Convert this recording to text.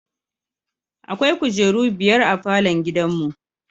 Akwai kujeru biyar a falon gidanmu.